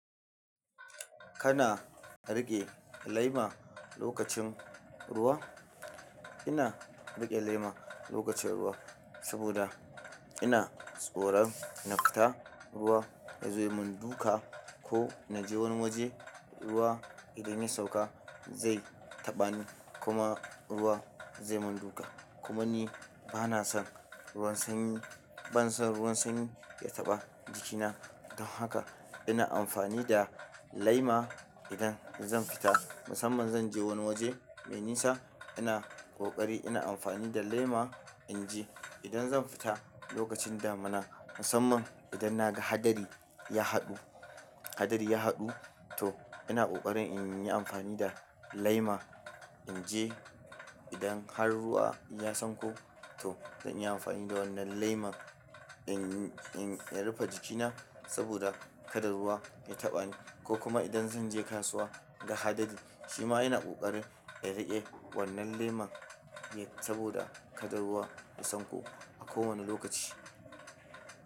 Kana riƙe laima lokacin ruwa? Ina riƙe lema lokacin ruwa saboda ina tsoron na fita ruwa ya zo ya mun duka ko na je wani waje ruwa idan ya sauka zai taɓa ni kuma ruwa zai mun duka. Kuma ni bana son ruwan sanyi, bana son ruwan sanyi ya taɓa jikina don haka ina amfani da laima idan zan fita musamman zan je wani waje mai nisa ina ƙoƙari ina amfani da lema in je. Idan zan fita lokacin damina musamman idan na ga hadari ya haɗu, hadari ya haɗu to ina ƙoƙarin inyi amfani da laima inje idan har ruwa ya sanko to zan yi amfani da wannan lema in, in, in rufe jikina saboda kada ruwa ya taɓa ni ko kuma idan zan je kasuwa ga hadari shima ina ƙoƙarin na riƙe wannan leman saboda kada ruwa ya sanko a kowane lokaci.